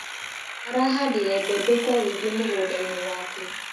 Arahandire mbembe kwa wĩingĩ mũgũndainĩ wake.